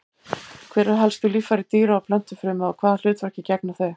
Hver eru helstu líffæri dýra- og plöntufrumu og hvaða hlutverki gegna þau?